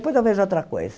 eu vejo outra coisa.